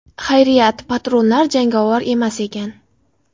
Xayriyat, patronlar jangovar emas ekan.